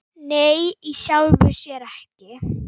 Nei, í sjálfu sér ekki.